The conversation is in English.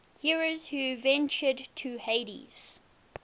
heroes who ventured to hades